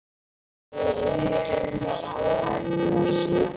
Nei enginn herra svaraði konan.